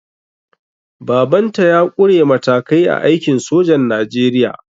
Baban ta ya ƙure matakai a aikin sojan najeriya